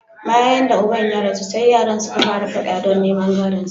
Bayan da uban ya rasu, sai yaran suka fara fada don neman gadonsa.